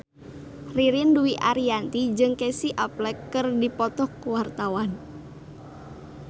Ririn Dwi Ariyanti jeung Casey Affleck keur dipoto ku wartawan